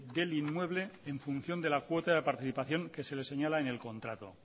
del inmueble en función de la cuota de participación que se le señala en el contrato